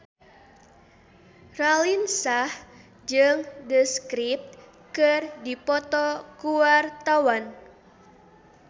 Raline Shah jeung The Script keur dipoto ku wartawan